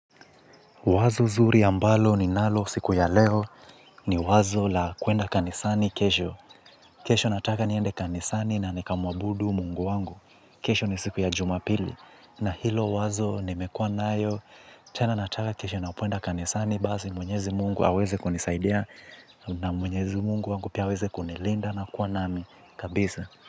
Wazo nzuri ambalo ninalo siku ya leo ni wazo la kwenda kanisani kesho. Kesho nataka niende kanisani na nikamwabudu mungu wangu. Kesho ni siku ya jumapili. Na hilo wazo nimekua nayo. Tena nataka kesho na kwenda kanisani. Basi Mwenyezi Mungu aweze kunisaidia na mwenyezi mungu wangu pia aweze kunilinda na kuwa nami kabisa.